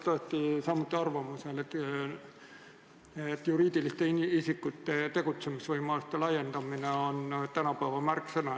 Ma olen samuti arvamusel, et juriidiliste isikute tegutsemisvõimaluste laiendamine on tänapäeva märksõna.